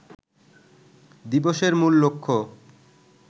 দিবসের মূল লক্ষ্য